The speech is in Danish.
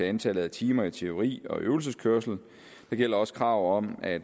antallet af timer i teori og øvelseskørsel det gælder også kravet om at